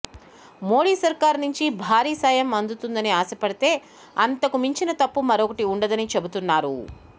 మోడీ సర్కారు నుంచి భారీ సాయం అందుతుందని ఆశ పడితే అంతకు మించిన తప్పు మరొకటి ఉండదని చెబుతున్నారు